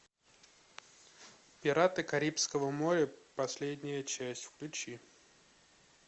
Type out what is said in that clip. пираты карибского моря последняя часть включи